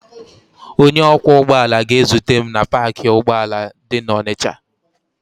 Onye ọkwọ ụgbọala ga-ezute m na paakị ụgbọala dị n'Ọnịcha.